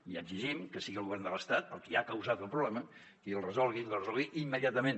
i exigim que sigui el govern de l’estat el qui ha causat el problema que el resolgui i el resolgui immediatament